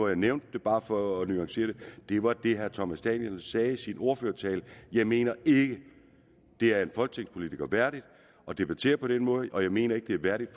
jeg nævnt det bare for at nuancere det og det var det herre thomas danielsen sagde i sin ordførertale jeg mener ikke det er en folketingspolitiker værdigt at debattere på den måde og jeg mener ikke det er værdigt